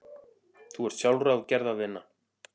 Þú ert sjálfráð gerða þinna.